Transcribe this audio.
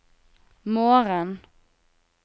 morgen